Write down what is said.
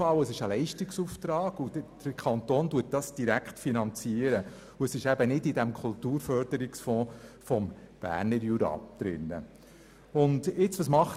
Es handelt sich nämlich um einen Leistungsauftrag, den der Kanton direkt finanziert und der nicht in dem Kulturförderungsfonds des Berner Juras enthalten ist.